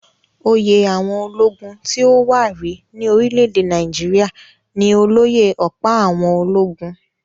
Oyè àwọn ológun tí ó wà rí ní orílẹ̀-èdè Nàìjíríà ní olóyè-ọ̀pá-àwọn-ológun